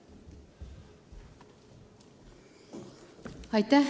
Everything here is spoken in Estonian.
Palun!